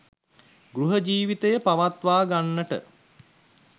ගෘහ ජීවිතය පවත්වාගන්නට